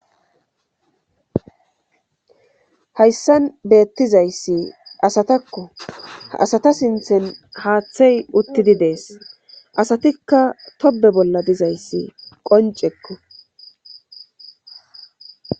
Hayssan beettizayssi asatakko asata sinthen haaththey uttidi dees asatikka tobe bolla dizayssi qoncekko